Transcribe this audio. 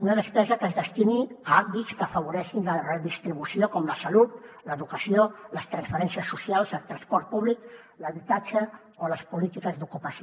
una despesa que es destini a àmbits que afavoreixin la redistribució com la salut l’educació les transferències socials el transport públic l’habitatge o les polítiques d’ocupació